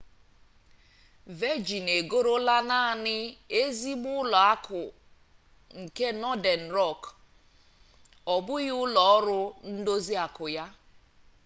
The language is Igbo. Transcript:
vejịn egorola naanị 'ezigbo ụlọ akụ' nke nọden rọk ọ bụghị ụlọ ọrụ ndozi akụ ya